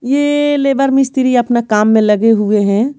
ये लेबर मिस्त्री अपना काम में लगे हुए है।